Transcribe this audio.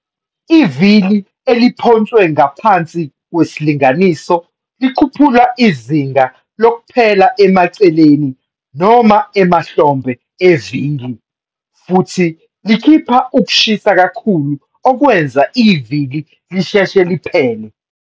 Ivili elimpontshwe ngaphansi kwesilinganiso likhuphula izinga lokuphela emaceleni noma emahlombe evili, futhi likhipha ukushisa kakhulu okwenza ivili lisheshe liphele.